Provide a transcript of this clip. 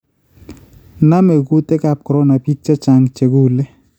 Naame kuutikaab corona biik chechang� chekule